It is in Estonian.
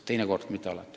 Teinekord, mitte alati.